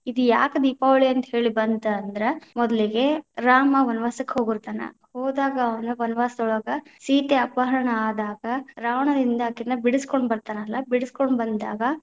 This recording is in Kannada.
ಇದ ಯಾಕ ದೀಪಾವಳಿ ಅಂತ ಹೇಳಿ ಬಂತ ಅಂದ್ರ, ಮೊದಲಿಗೆ ರಾಮ ವನವಾಸಕ್ಕ ಹೋಗಿತಾ೯ನ, ಹೋದಾಗ ಅವ್ರ ವನವಾಸದೊಳಗ ಸೀತೆ ಅಪಹರಣ ಆದಾಗ, ರಾವಣನಿಂದ ಅಕಿನ್ನ ಬಿಡಿಸಕೊಂಡ ಬತಾ೯ನಲ್ಲ, ಬಿಡಿಸಕೊಂಡ ಬಂದಾಗ.